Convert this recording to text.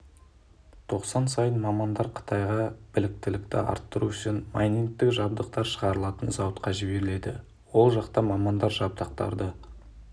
тоқсан сайын мамандар қытайға біліктілікті арттыру үшін майнингтік-жабдықтар шығарылатын зауытқа жіберіледі ол жақта мамандар жабдықтарды